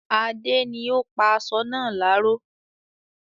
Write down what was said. Adé ni ó pa aṣọ náà láró